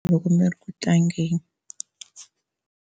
Loko mi ri ku tlangeni.